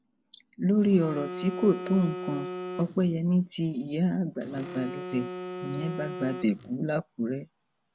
lórí ọrọ tí kò tó nǹkan opeyemi tí ìyá àgbàlagbà lulẹ nìyẹn bá gbabẹ kú làkúrẹ